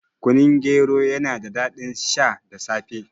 Kunun gero yana da daɗin sha da safe